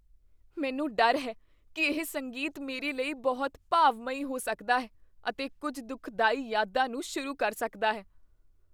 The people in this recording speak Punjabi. ਮੈਨੂੰ ਡਰ ਹੈ ਕੀ ਇਹ ਸੰਗੀਤ ਮੇਰੇ ਲਈ ਬਹੁਤ ਭਾਵਮਈ ਹੋ ਸਕਦਾ ਹੈ ਅਤੇ ਕੁੱਝ ਦੁੱਖਦਾਈ ਯਾਦਾਂ ਨੂੰ ਸ਼ੁਰੂ ਕਰ ਸਕਦਾ ਹੈ।